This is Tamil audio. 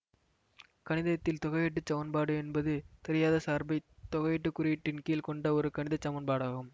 கணிதத்தில் தொகையீட்டுச் சமன்பாடு என்பது தெரியாத சார்பைத் தொகையீட்டுக் குறியீட்டின்கீழ் கொண்ட ஒரு கணித சமன்பாடாகும்